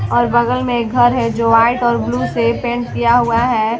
और बगल में एक घर है जो वाइट और ब्लू से पेंट किया हुआ हैं ।